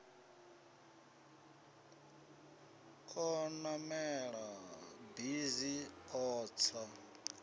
o namela bisi a tsa